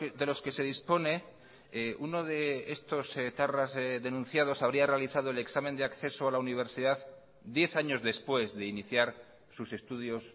de los que se dispone uno de estos etarras denunciados habría realizado el examen de acceso a la universidad diez años después de iniciar sus estudios